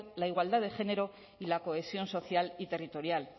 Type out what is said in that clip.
la igualdad de género y la cohesión social y territorial